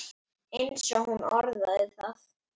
eins og hún orðaði það.